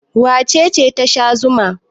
Wace ce ta sha zuma?